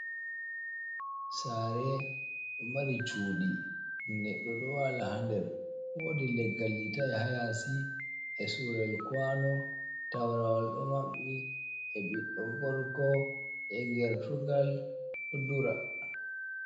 Sare ɗo mari cuɗi neɗɗo ɗo wala ha nder, wodi leggal litai ha yasi e sure kuano, taprawal ɗo maɓɓi, e ɓiɗɗo gorgo, e gertrugal ɗo dura.